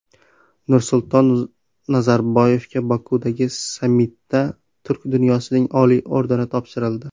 Nursulton Nazarboyevga Bokudagi sammitda Turk dunyosining oliy ordeni topshirildi.